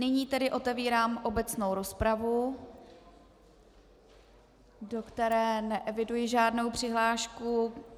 Nyní tedy otevírám obecnou rozpravu, do které neeviduji žádnou přihlášku.